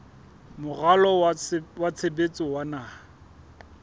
moralo wa tshebetso wa naha